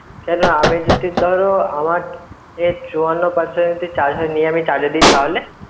কেন আমি যদি ধরো আমার এ চুয়ান্ন percent এ charge এ নিয়ে যদি charge এ দি তাহলে